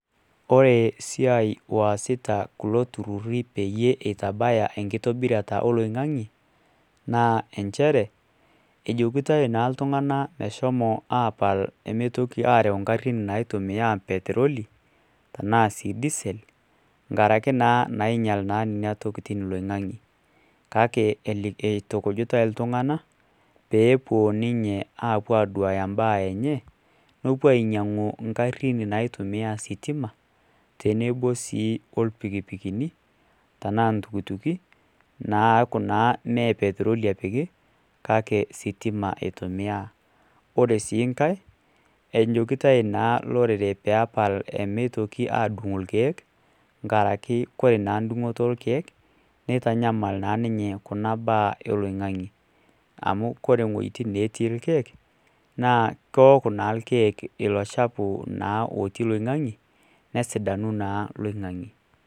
Kore siiai oosiai oosita kulo turururi peeitabaya enkitobirata oloing'ange naa inchere ejokitoi naa iltung'anak meshomo aapal nemeitiki aaraeu ingarin naitumiya petroli tenaa sii diesel ngaraki naa nainyial nena tokitin loing'ange kake eitukujitai iltung'anak peepuo ninche aapuo aaduya imbaa enye nepuo ainyiang'u ingarin naapuo aasiie sitima tenebo sii orpikipikini tenaa iltukutuki neeku naa mee petroli epiki kake sitima eitumiya ore sii nkae ejokitoi naalorere peepal meitoki aadung irkiek nkaraki kore naa dung'oto orkeek neitanyamal naa ninye kuna baa oloing'ange amu kore iwuejitin naatii irkiek kewok naa irkiek ilo chafu otii loing'ange nesidanu naa loing'ange.